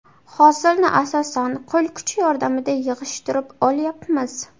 Hosilni asosan, qo‘l kuchi yordamida yig‘ishtirib olyapmiz.